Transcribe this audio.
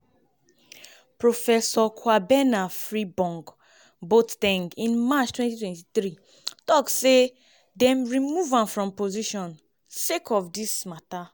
professor kwabena frimpong-boa ten g in march 2023 tok say dey remove am from im position sake of dis mata.